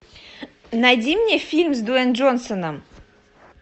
найди мне фильм с дуэйн джонсоном